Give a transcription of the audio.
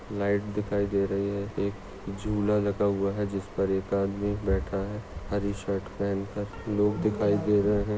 Light दिखाई दे रही है एक झुला लगा हुआ है जिसपर एक आदमी बैठा है हरी शर्ट पहन कर लोग दिखाई दे रहे है।